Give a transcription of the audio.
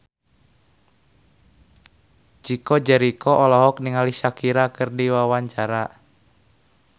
Chico Jericho olohok ningali Shakira keur diwawancara